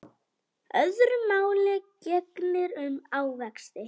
Öðru máli gegnir um ávexti.